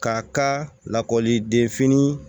K'a ka lakɔliden fini